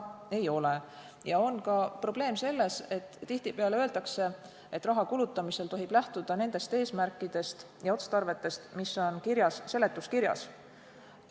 Probleem on ka selles, et tihtipeale öeldakse, et raha kulutamisel tohib lähtuda nendest eesmärkidest ja otstarvetest, mis on kirjas seletuskirjas.